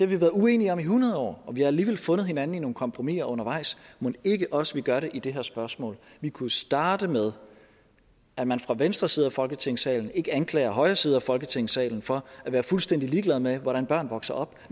vi været uenige om i hundrede år og vi har alligevel fundet hinanden i nogle kompromiser undervejs mon ikke også vi gør det i det her spørgsmål vi kunne starte med at man fra venstre side af folketingssalen ikke anklager højre side af folketingssalen for at være fuldstændig ligeglade med hvordan børn vokser op